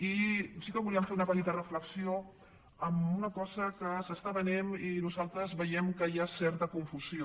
i sí que volíem fer una petita reflexió en una cosa que s’està venent i en què nosaltres veiem que hi ha certa confusió